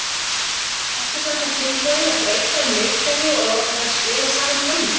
Ertu semsagt tilbúinn að breyta um leikkerfi og láta þær spila saman frammi?